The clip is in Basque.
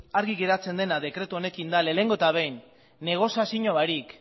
argi geratzen dena dekretu honekin da lehenengo eta behin negoziazio barik